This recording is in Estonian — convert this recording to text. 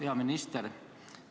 Hea minister!